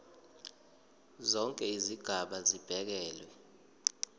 zonke izigaba zibekelwe